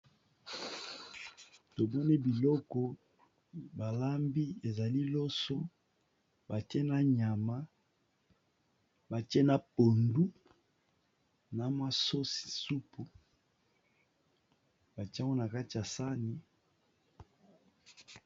Tomone biloko balambi ezali loso batie na nyama batie na pondu na masosi supu batiaoa kati a sani.